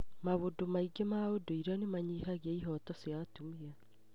Maũndũ maingĩ ma ũndũire nĩ manyihagia ihooto cia atumia.